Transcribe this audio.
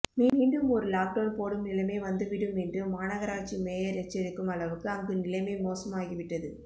மீண்டும் ஒரு லாக்டவுன் போடும் நிலைமை வந்துவிடும் என்று மாநகராட்சி மேயர் எச்சரிக்கும் அளவுக்கு அங்கு நிலைமை மோசமாகிவிட்டது